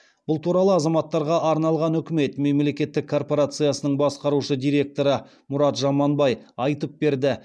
бұл туралы азаматтарға арналған үкімет мемлекеттік корпорациясының басқарушы директоры мұрат жұманбай айтып берді